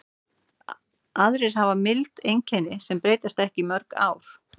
Aðrir hafa mild einkenni sem breytast ekki í mörg ár.